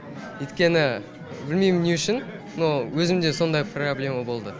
өйткені білмейм не үшін но өзімде сондай проблема болды